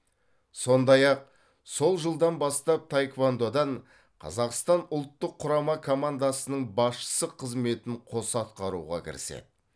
сондай ақ сол жылдан бастап таеквондодан қазақстан ұлттық құрама командасының басшысы қызметін қоса атқаруға кіріседі